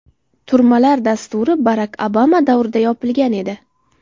Turmalar dasturi Barak Obama davrida yopilgan edi.